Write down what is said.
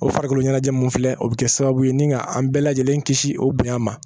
O farikolo ɲɛnajɛ mun filɛ o bɛ kɛ sababu ye ni ka an bɛɛ lajɛlen kisi o bonya ma